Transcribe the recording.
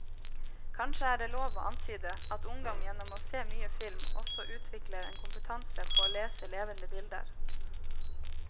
Kanskje er det lov å antyde at ungdom gjennom å se mye film også utvikler en kompetanse på å lese levende bilder.